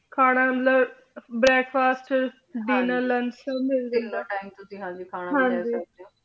ਖਾਨਾ ਮਤਲਬ breakfast dinner lunch ਸਬ ਮਿਲ ਜਾਂਦਾ ਤੀਨੋ ਟੀਮੇ ਤੁਸੀਂ ਖਾਨਾ ਖਾ ਸਕਦੇ ਊ ਹਾਂਜੀ